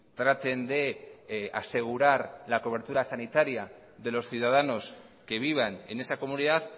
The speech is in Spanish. traten de asegurar la cobertura sanitaria de los ciudadanos que vivan en esa comunidad